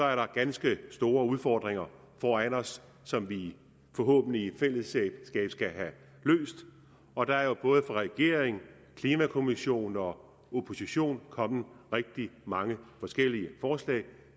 er der ganske store udfordringer foran os som vi forhåbentlig i fællesskab skal have løst og der er både fra regeringen klimakommissionen og oppositionen kommet rigtig mange forskellige forslag